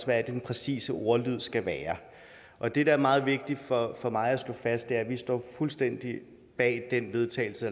hvad den præcise ordlyd skal være og det der er meget vigtigt for mig at slå fast er at vi står fuldstændig bag den vedtagelse